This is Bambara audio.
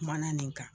Kumana nin kan